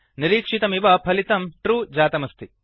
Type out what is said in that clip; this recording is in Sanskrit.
निरीक्षितमिव फलितं ट्रू ट्रु जातमस्ति